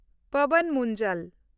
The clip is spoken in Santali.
ᱯᱟᱣᱟᱱ ᱢᱩᱱᱡᱟᱞ